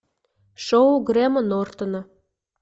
шоу грэма нортона